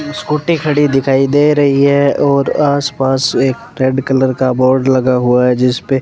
scooty खड़ी दिखाई दे रही है और आसपास एक रेड कलर का बोर्ड लगा हुआ है जिस पे --